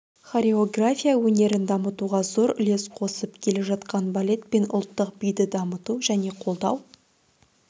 хореография өнерін дамытуға зор үлес қосып келе жатқан балет пен ұлттық биді дамыту және қолдау